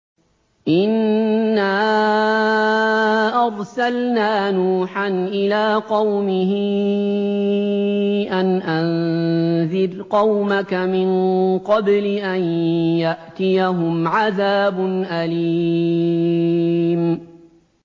إِنَّا أَرْسَلْنَا نُوحًا إِلَىٰ قَوْمِهِ أَنْ أَنذِرْ قَوْمَكَ مِن قَبْلِ أَن يَأْتِيَهُمْ عَذَابٌ أَلِيمٌ